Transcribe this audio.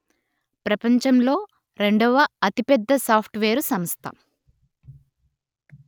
ప్రపంచంలో రెండవ అతిపెద్ద సాఫ్టువేరు సంస్థ